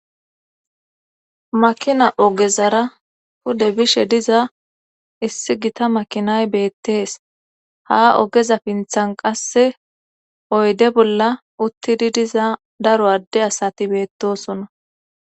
makina ogezara pude bishe diza issi gita makinay beettees ha ogeza pinthan qasse oyde bolla uttidi diza daro adde asati beettosona